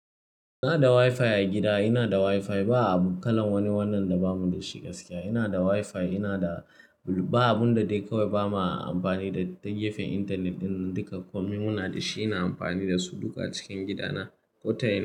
Ina da WiFi a gida, ina da WiFi ba a bukalan wani wannan da bamu da shi gaskiya. Ina da WiFi ina da, ba abun da dai kawai ba ma amfani da ta gefen intanet din, duka komai muna da shi ina amfani da su duka cikin gidana ko ta ina.